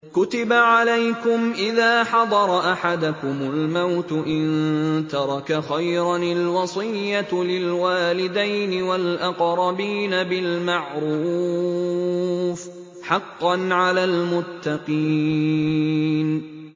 كُتِبَ عَلَيْكُمْ إِذَا حَضَرَ أَحَدَكُمُ الْمَوْتُ إِن تَرَكَ خَيْرًا الْوَصِيَّةُ لِلْوَالِدَيْنِ وَالْأَقْرَبِينَ بِالْمَعْرُوفِ ۖ حَقًّا عَلَى الْمُتَّقِينَ